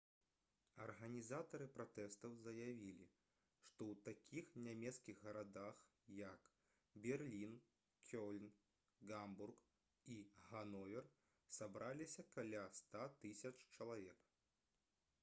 арганізатары пратэстаў заявілі што ў такіх нямецкіх гарадах як берлін кёльн гамбург і гановер сабраліся каля 100 000 чалавек